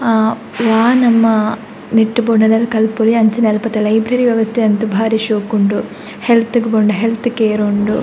ಆ ವಾ ನಮ್ಮ ನೆಟ್ಟ್ ಬೋಡಾಯಿಲಕ ಕಲ್ಪೊಲಿ ಅಂಚನೆ ಅಲ್ಪದ ಲೈಬ್ರೆರಿ ವ್ಯವಸ್ಥೆ ಅಂತು ಭಾರಿ ಶೋಕುಂಡು ಹೆಲ್ತ್ ಗ್ ಬೋಡಾಂಡ ಹೆಲ್ತ್ ಕೇರ್ ಉಂಡು .